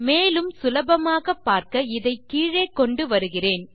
மேலும் சுலபமாக பார்க்க இதை கீழே கொண்டு வருகிறேன்